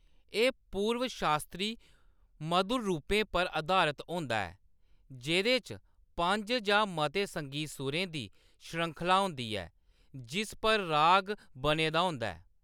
एह्‌‌ पूर्व-शास्त्री मधुर रूपें पर अधारत होंदा ऐ जेह्‌‌‌दे च पंज जां मते संगीत सुरें दी श्रृंखला होंदी ऐ, जिस पर राग बने दा होंदा ऐ।